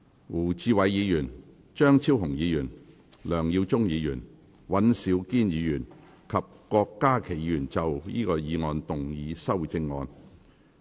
胡志偉議員、張超雄議員、梁耀忠議員、尹兆堅議員及郭家麒議員要就議案動議修正案。